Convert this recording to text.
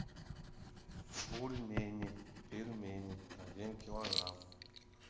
бульмени пельмени один килограмм